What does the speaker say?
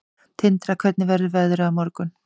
Tindra, hvernig verður veðrið á morgun?